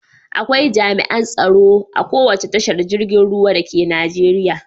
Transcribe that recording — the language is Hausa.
Akwai jami'an tsaro a kowace tashar girgin ruwa dake Najeriya.